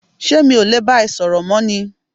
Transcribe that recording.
ṣé mi ò le bá ẹ sọ̀rọ̀ mọ́ ni?